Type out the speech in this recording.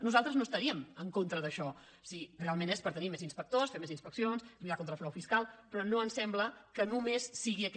nosaltres no estaríem en contra d’això si realment és per tenir més inspectors fer més inspeccions lluitar contra el frau fiscal però no em sembla que només sigui aquest